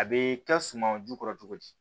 A bɛ kɛ suman jukɔrɔ cogo di